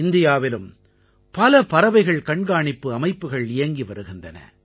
இந்தியாவிலும் பல பறவைகள் கண்காணிப்பு அமைப்புகள் இயங்கி வருகின்றன